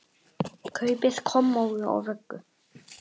Kaupi kommóðu og vöggu.